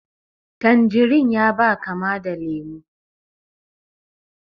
Tanjerin ya ba kama da lemu